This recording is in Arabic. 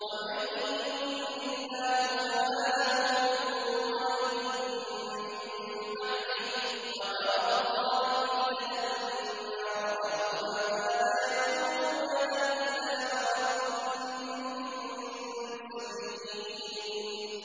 وَمَن يُضْلِلِ اللَّهُ فَمَا لَهُ مِن وَلِيٍّ مِّن بَعْدِهِ ۗ وَتَرَى الظَّالِمِينَ لَمَّا رَأَوُا الْعَذَابَ يَقُولُونَ هَلْ إِلَىٰ مَرَدٍّ مِّن سَبِيلٍ